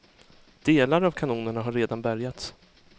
Delar av kanonerna har redan bärgats.